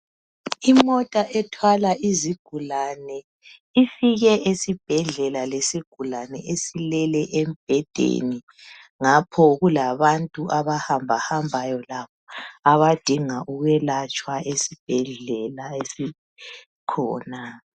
Imota ethwala izigulane ifike esibhedlela lesigulane esilele embhedeni ngapho kulabantu abahamba hambayo abadinga ukwelatshwa esibhedlela esikhona